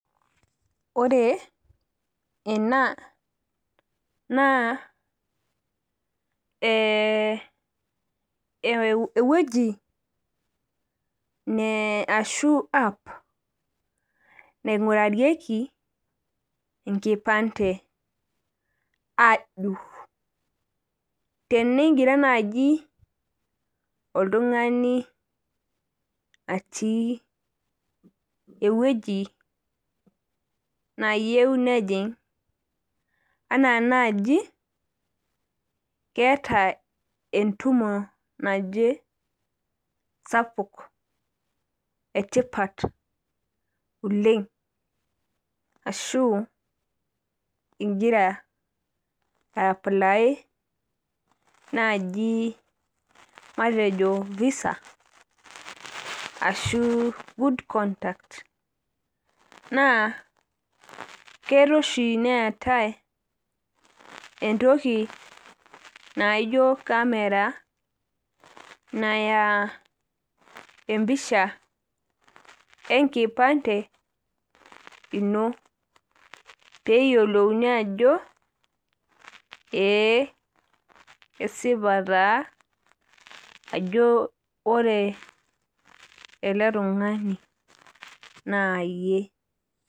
Ore ena naa ewueji ashu app naigurarieki enkipante ajuru . Tenegira naji oltungani aata ewueji nayieu nejing anaa naji keeta entumo sapuk etipat oleng ashu ingira aaply naji visa ashu good conduct naa kelo oshi neetae entoki naijo camera naya empisha enkipante ino peyiolouni ajo ee esipa taa ajo ore eletungani naa yie.